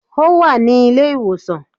Ó wà ní ilé ìwòsàn